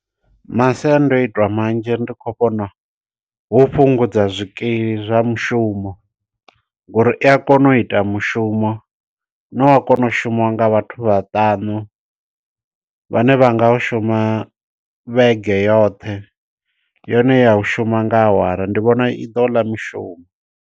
Masiandoitwa manzhi ndi khou vhona hu u fhungudza zwikili zwa mushumo, ngo uri i a kona u ita mushumo. Une wa kona u shumiwa nga vhathu vhaṱanu, vhane vha nga u shuma vhege yoṱhe, yone ya u shuma nga awara. Ndi vhona i ḓo ḽa mishumo.